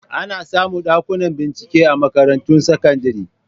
Ana samu Ɗakuna bincike a makarantun sakandire